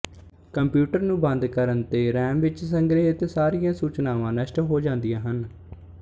computer ਨੂੰ ਬੰਦ ਕਰਨ ਤੇ ਰੈਮ ਵਿੱਚ ਸੰਗ੍ਰਹਿਤ ਸਾਰੀਆਂ ਸੂਚਨਾਵਾਂ ਨਸ਼ਟ ਹੋ ਜਾਂਦੀਆਂ ਹਨ